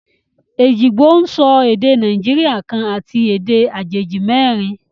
Ejìgbò ń sọ èdè Nàìjíríà kan àti èdè àjèjì merin